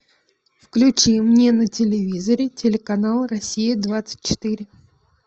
включи мне на телевизоре телеканал россия двадцать четыре